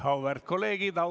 Auväärt kolleegid!